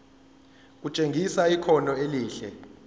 kutshengisa ikhono elihle